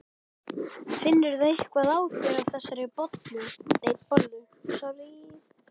Finnurðu eitthvað á þér af þessari bollu?